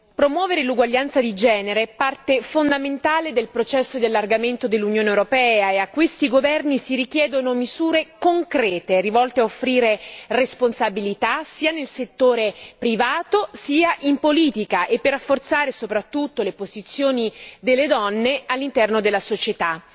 Promuovere l'uguaglianza di genere è parte fondamentale del processo di allargamento dell'Unione europea ed a questi governi si richiedono misure concrete intese ad offrire responsabilità sia nel settore privato sia in politica e per rafforzare soprattutto la posizione delle donne all'interno della società.